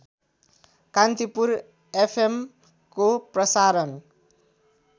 कान्तिपुर एफएमको प्रसारण